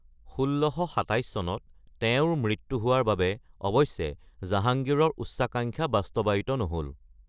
১৬২৭ চনত তেওঁৰ মৃত্যু হোৱাৰ বাবে অৱশ্যে জাহাংগীৰৰ উচ্চাকাংক্ষা বাস্তৱায়িত নহ’ল।